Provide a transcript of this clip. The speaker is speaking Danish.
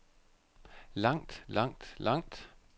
langt langt langt